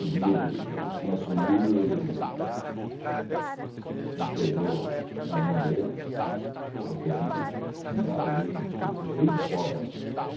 O dinheiro tinha sumido e não chegou nas mãos dele, porque tinha que fundar o leito do Tietê desde o Covas.